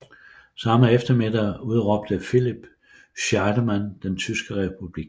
Samme eftermiddag udråbte Philipp Scheidemann den tyske republik